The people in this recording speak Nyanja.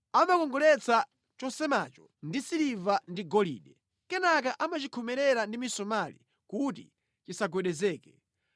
Amakongoletsa chosemacho ndi siliva ndi golide; kenaka amachikhomerera ndi misomali kuti chisagwedezeke.